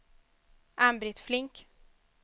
Ann-Britt Flink